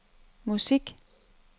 musik